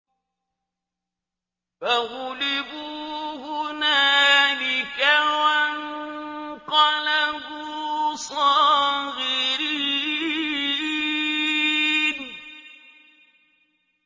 فَغُلِبُوا هُنَالِكَ وَانقَلَبُوا صَاغِرِينَ